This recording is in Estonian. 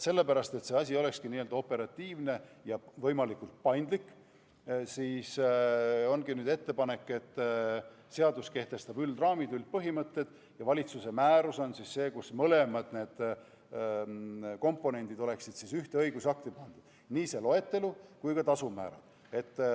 Sellepärast, et see asi olekski operatiivne ja võimalikult paindlik, ongi nüüd ettepanek, et seadus kehtestaks üldraamid, üldpõhimõtted, ja valitsuse määrus oleks see, kus oleks mõlemad komponendid, st ühes õigusaktis oleks nii loetelu kui ka tasumäärad.